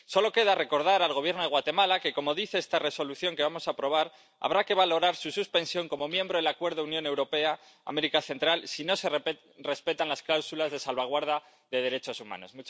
Solo queda recordar al Gobierno de Guatemala que, como dice esta Resolución que vamos a aprobar, habrá que valorar su suspensión como miembro del Acuerdo Unión Europea América Central si no se respetan las cláusulas de salvaguarda de los derechos humanos.